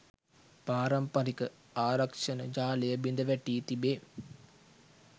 පාරම්පරික ආරක්‍ෂණ ජාලය බිඳ වැටී තිබේ